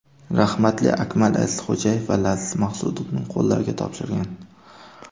Rahmatli Akmal Azizxo‘jayev va Laziz Maqsudovning qo‘llariga topshirgan.